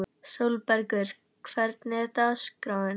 Sólbergur, hvernig er dagskráin?